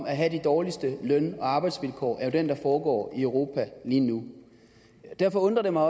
at have de dårligste løn og arbejdsvilkår er jo den der foregår i europa lige nu derfor undrer det mig